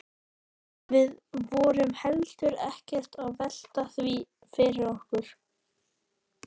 Við vorum heldur ekkert að velta því fyrir okkur.